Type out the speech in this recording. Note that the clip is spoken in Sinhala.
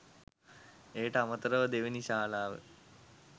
එයට අමතරව දෙවැනි ශාලාව